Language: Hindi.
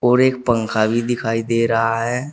और एक पंखा भी दिखाई दे रहा है।